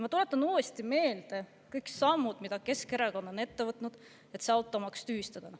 Ma tuletan uuesti meelde kõik sammud, mida Keskerakond on, et automaks tühistada.